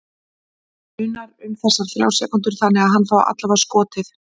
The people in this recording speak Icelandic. Munar um þessar þrjár sekúndur þannig að hann fái allavega skotið?